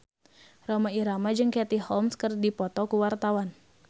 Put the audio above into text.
Rhoma Irama jeung Katie Holmes keur dipoto ku wartawan